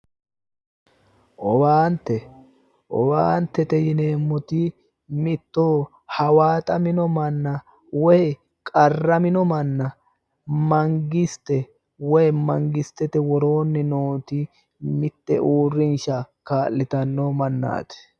Owaante, owaantete yinneemmoti mitto hawaaxamino manna woyi qarramino manna mangiste woyi mangistete worooni nooti mite uurrinsha kaa'littano mannati